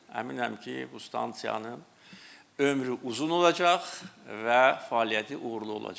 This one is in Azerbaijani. Əminəm ki, bu stansiyanın ömrü uzun olacaq və fəaliyyəti uğurlu olacaq.